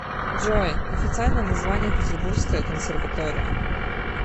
джой официальное название петербургская консерватория